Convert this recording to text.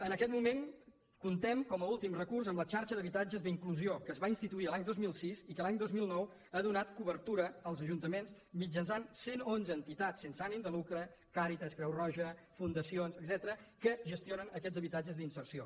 en aquest moment comptem com a últim recurs amb la xarxa d’habitatges d’inclusió que es va instituir l’any dos mil sis i que a l’any dos mil nou ha donat cobertura als ajuntaments mitjançant cent onze entitats sense ànim de lucre càritas creu roja fundacions etcètera que gestionen aquests habitatges d’inserció